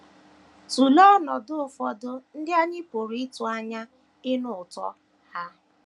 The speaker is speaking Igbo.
Tụlee ọnọdụ ụfọdụ ndị anyị pụrụ ịtụ anya ịnụ ụtọ ha.